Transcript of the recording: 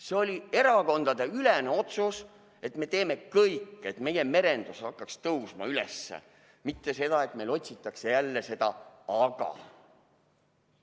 See oli erakondadeülene otsus, et me teeme kõik, et meie merendus hakkaks tõusma üles, mitte see, et meil otsitakse jälle seda "aga".